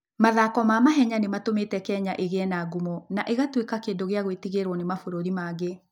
Mathako ma mahenya nĩ matũmĩte Kenya ĩgĩe na ngumo na ĩgatuĩka kĩndũ gĩa gwĩtigĩrũo nĩ mabũrũri mangĩ.